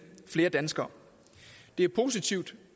flere danskere det er positivt